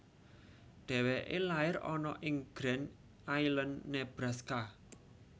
Dheweke lair ana ing Grand Island Nebraska